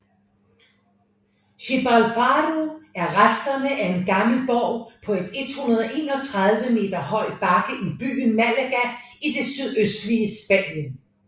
Gibralfaro er resterne af en gammel borg på et 131 meter høj bakke i byen Málaga i det sydøstlige Spanien